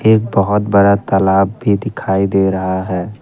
एक बहोत बड़ा तालाब भी दिखाई दे रहा है।